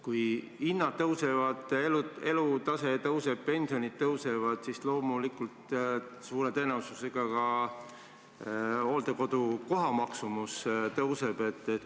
Kui hinnad tõusevad, elatustase tõuseb, pensionid tõusevad, siis loomulikult suure tõenäosusega ka hooldekodu kohatasu tõuseb.